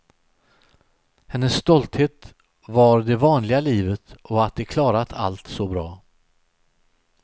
Hennes stolthet var det vanliga livet och att de klarat allt så bra.